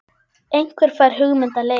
Einhver fær hugmynd að leik.